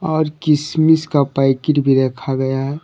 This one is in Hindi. और किशमिश का पैकीट भी रखा गया है।